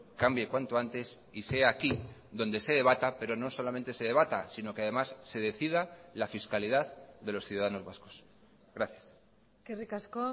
cambie cuanto antes y sea aquí donde se debata pero no solamente se debata sino que además se decida la fiscalidad de los ciudadanos vascos gracias eskerrik asko